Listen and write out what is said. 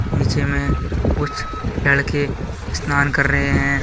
नीचे में कुछ लड़के स्नान कर रहे हैं।